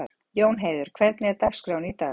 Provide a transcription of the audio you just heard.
Jónheiður, hvernig er dagskráin í dag?